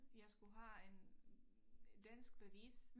Jeg skulle have en øh danskbevis